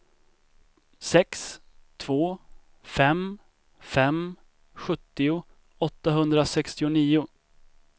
sex två fem fem sjuttio åttahundrasextionio